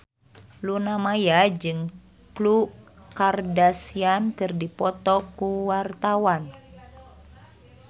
Luna Maya jeung Khloe Kardashian keur dipoto ku wartawan